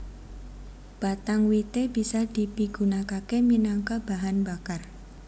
Batang wité bisa dipigunakaké minangka bahan bakar